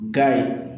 Ga ye